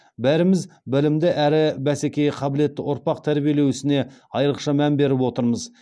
бәріміз білімді әрі бәсекеге қабілетті ұрпақ тәрбиелеу ісіне айрықша мән беріп отырмыз